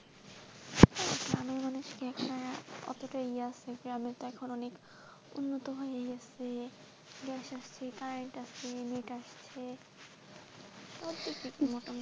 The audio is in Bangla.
গ্রামের মানুষ কি এখন অতটা ইযে আছে গ্রামে তো এখন অনেক উন্নত হয়ে গেছে, কারেন্ট আছে, সব দিক দিয়ে মোটামুটি।